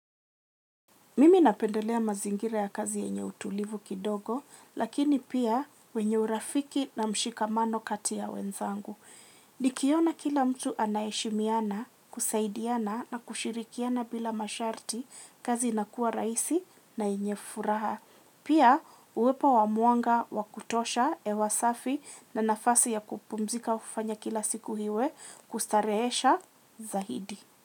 Mimi napendelea mazingira ya kazi yenye utulivu kidogo lakini pia wenye urafiki na mshikamano kati ya wenzangu. Nikiona kila mtu anaheshimiana, kusaidiana na kushirikiana bila masharti kazi inakua rahisi na enye furaha. Pia uwepo wa mwanga wa kutosha hewa safi na nafasi ya kupumzika hufanya kila siku iwe kustarehesha zaidi.